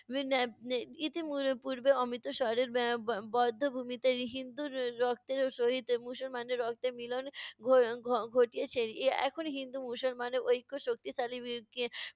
ইতি উম পুর্বে অমৃতসরের বা~ বে~ বধ্যভূমিতে হিন্দুর রক্তের সহিত মুসলমানের রক্তের মিলন ঘ~ ঘ~ ঘটিয়েছে। এখন হিন্দু মুসলমানের ঐক্য শক্তিশালী